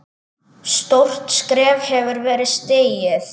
Stórt skref hefur verið stigið.